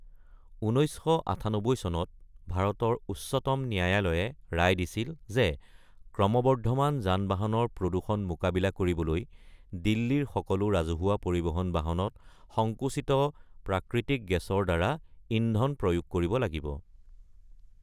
১৯৯৮ চনত ভাৰতৰ উচ্চতম ন্যায়ালয়ে ৰায় দিছিল যে ক্ৰমবৰ্ধমান যান-বাহনৰ প্ৰদূষণ মোকাবিলা কৰিবলৈ দিল্লীৰ সকলো ৰাজহুৱা পৰিবহণ বাহনত সংকোচিত প্ৰাকৃতিক গেছৰ দ্বাৰা ইন্ধন প্ৰয়োগ কৰিব লাগিব।